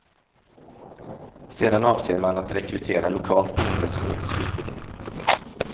Sedan avser man att rekrytera lokalt boende som ges utbildning.